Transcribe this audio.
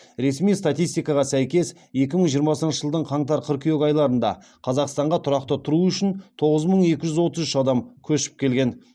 ресми статистикаға сәйкес екі мың жиырмасыншы жылдың қаңтар қыркүйек айларында қазақстанға тұрақты тұру үшін тоғыз мың екі жүз отыз үш адам көшіп келген